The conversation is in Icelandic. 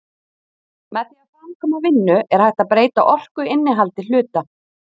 Með því að framkvæma vinnu er hægt að breyta orkuinnihaldi hluta.